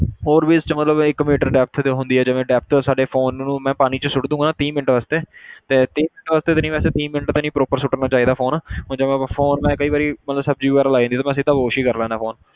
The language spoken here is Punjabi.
ਹੋਰ ਵੀ ਇਸ 'ਚ ਮਤਲਬ ਇੱਕ ਮੀਟਰ depth ਹੁੰਦੀ ਹੈ ਜਿਵੇਂ depth ਸਾਡੇ phone ਨੂੰ ਮੈਂ ਪਾਣੀ 'ਚ ਸੁੱਟ ਦੇਵਾਂਗਾ ਨਾ ਤੀਹ ਮਿੰਟ ਵਾਸਤੇ ਤੇ ਤੀਹ ਮਿੰਟ ਵਾਸਤੇ ਤੇ ਨੀ ਵੈਸੇ ਤੀਹ ਮਿੰਟ ਵੀ ਨੀ proper ਸੁੱਟਣਾ ਚਾਹੀਦਾ phone ਹੁਣ ਜਿਵੇਂ phone ਮੈਂ ਕਈ ਵਾਰੀ ਮਤਲਬ ਸ਼ਬਜੀ ਲੱਗ ਜਾਂਦੀ ਆ ਤਾਂ ਮੈਂ ਸਿੱਧਾ wash ਹੀ ਕਰ ਲੈਨਾ phone